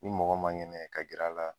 Ni mɔgɔ man kɛnɛ ka gɛrɛ a la.